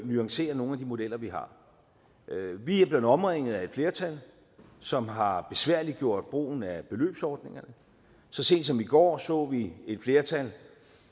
nuancere nogle af de modeller vi har vi er blevet omringet af et flertal som har besværliggjort brugen af beløbsordningerne så sent som i går så vi et flertal